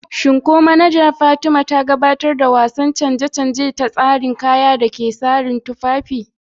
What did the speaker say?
Shin ko manaja Fatima ta gabatar da wasu canje-canje a tsarin kayan da ke sashin tufafi?